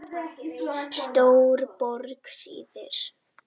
Stóruborg syðri